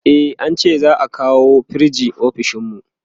e an ce za'a kawo firij ofishinmu